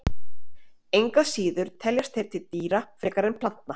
Engu að síður teljast þeir til dýra frekar en plantna.